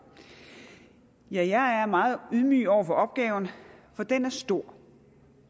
ja jeg er meget ydmyg over for opgaven for den er stor